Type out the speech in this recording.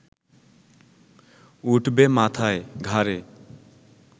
উঠবে মাথায়, ঘাড়ে